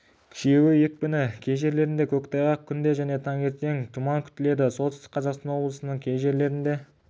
күшеюі екпіні кей жерлерінде көктайғақ түнде және таңертең тұман күтіледі солтүстік қазақстан облысының кей жерлерінде